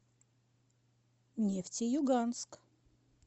нефтеюганск